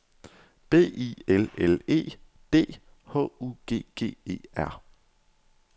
B I L L E D H U G G E R